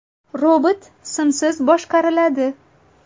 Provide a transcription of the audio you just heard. Robot simsiz boshqariladi.